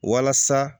Walasa